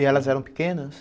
E elas eram pequenas?